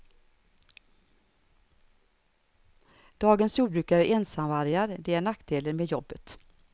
Dagens jordbrukare är ensamvargar, det är nackdelen med jobbet.